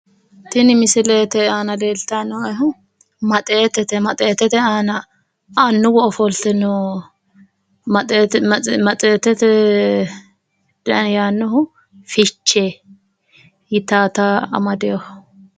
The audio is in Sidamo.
Tini misilete aana leeltayi noo'ehu maxeetete maxeetete aana annuwu ofolte no maxeetete dani yaannohu fichee yitawota amadewoho.